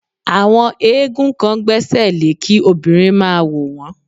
Àwọn éégún kan gbẹ́sẹ̀lẹ́ kí obìnrin máa wò wón.